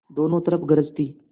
दोनों तरफ गरज थी